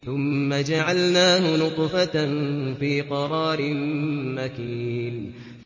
ثُمَّ جَعَلْنَاهُ نُطْفَةً فِي قَرَارٍ مَّكِينٍ